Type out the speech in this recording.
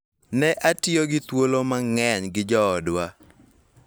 Ne atiyo gi thuolo mang�eny gi joodwa